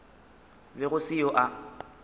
be go se yo a